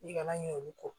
I kana ɲin'olu kɔ